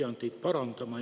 Ma pean teid parandama.